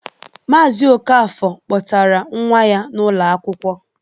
Maazi Okafor kpọtara nwa ya n'ụlọ akwụkwọ.